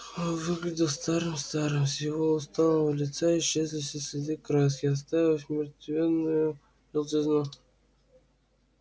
он выглядел старым-старым с его усталого лица исчезли все следы краски оставив мертвенную желтизну